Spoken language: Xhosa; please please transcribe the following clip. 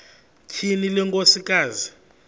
tyhini le nkosikazi